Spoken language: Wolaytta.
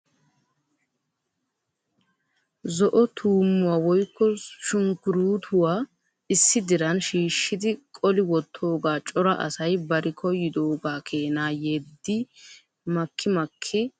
Zo"o tuummuwa woykko sunkkurutuwa issi diran shiishshidi qoli wottooga cora asay bari koyyidooga keena yiidi maki maki ekkidi de'iyaage beettees.